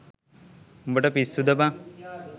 උඹට පිස්සුද බං